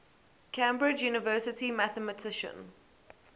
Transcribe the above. cambridge university mathematician